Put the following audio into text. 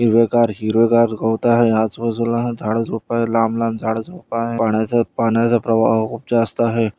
हिरवेगार-हिरवेगार गवत आहे आजूबाजूला झाडं झोपड लांभ-लांभ झोपड आहे पाण्याच-पाण्याच प्रवाह खूप जास्त आहे.